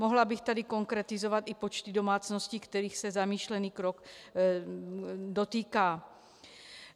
Mohla bych tady konkretizovat i počty domácností, kterých se zamýšlený krok dotýká.